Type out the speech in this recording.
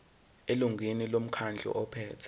elungwini lomkhandlu ophethe